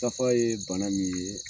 Tafa ye bana min ye